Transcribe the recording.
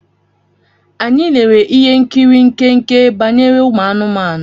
Anyị lere ihe nkiri nkenke banyere ụmụ anụmanụ.